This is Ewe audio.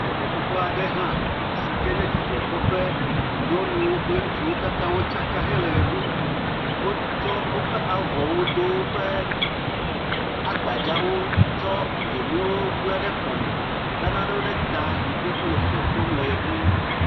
Eƒuƒoƒe aɖe nye hã sike nye dzidzɔ kpɔƒe. Nyɔnu kple ŋutsu katã wotsaka hele me ɖum. Wotsɔ woƒe avɔwo Do woƒe agbadzawo tsɔ dzonuwo bla ɖe dzime, le nanewo ɖe ta. Wòle dzidzɔ kpɔm le ɣe ɖum.